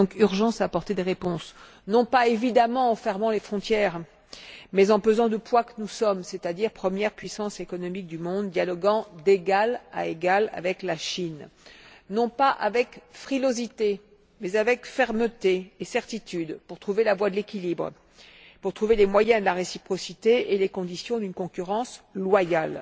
Il y a donc urgence à apporter des réponses, non pas, évidemment, en fermant les frontières, mais en pesant du poids de ce que nous sommes, c'est à dire la première puissance économique du monde dialoguant d'égal à égal avec la Chine, non pas avec frilosité, mais avec fermeté et certitude, pour trouver la voie de l'équilibre, pour trouver les moyens de la réciprocité et les conditions d'une concurrence loyale.